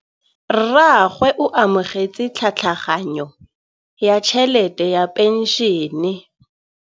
Rragwe o amogetse tlhatlhaganyô ya tšhelête ya phenšene.